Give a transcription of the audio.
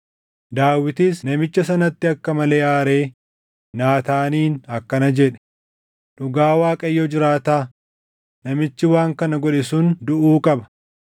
Daawitis namicha sanatti akka malee aaree Naataaniin akkana jedhe; “Dhugaa Waaqayyo jiraataa, namichi waan kana godhe sun duʼuu qaba!